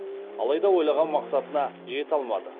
алайда ойлаған мақсатына жете алмады